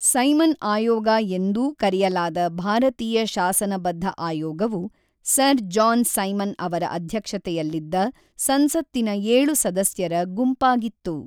Simon ಆಯೋಗ ಎಂದೂ ಕರೆಯಲಾದ ಭಾರತೀಯ ಶಾಸನಬದ್ಧ ಆಯೋಗವು ಸರ್ ಜಾನ್ ಸೈಮನ್ ಅವರ ಅಧ್ಯಕ್ಷತೆಯಲ್ಲಿದ್ದ ಸಂಸತ್ತಿನ ಏಳು ಸದಸ್ಯರ ಗುಂಪಾಗಿತ್ತು.